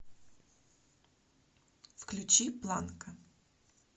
включи планка